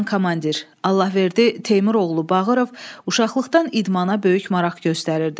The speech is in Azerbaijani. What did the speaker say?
Allahverdi Teymur oğlu Bağırov uşaqlıqdan idmana böyük maraq göstərirdi.